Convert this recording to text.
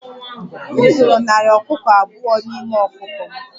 M zụrụ narị ọkụkọ abụọ n'ime ọkụkọ m